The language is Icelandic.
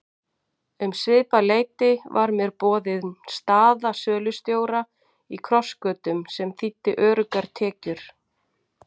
Um svipað leyti var mér boðin staða sölustjóra í Krossgötum sem þýddi öruggar tekjur.